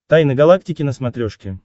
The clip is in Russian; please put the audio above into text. тайны галактики на смотрешке